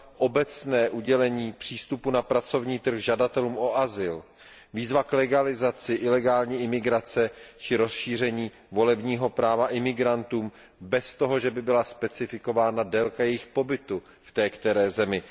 obecné udělení přístupu na pracovní trh žadatelům o azyl, výzva k legalizaci ilegální imigrace či rozšíření volebního práva imigrantům bez toho, že by byla specifikována délka jejich pobytu v té které zemi.